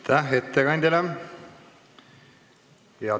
Aitäh ettekandjale!